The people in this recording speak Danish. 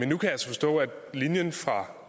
nu kan jeg så forstå at linjen fra